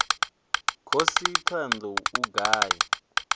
khosi thohoyanḓ ou u ngafhi